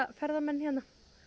ferðamenn hérna